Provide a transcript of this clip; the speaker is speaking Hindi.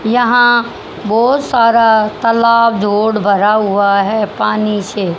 यहां बहुत सारा तालाब लोड भरा हुआ है पानी से।